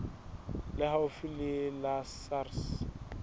le haufi le la sars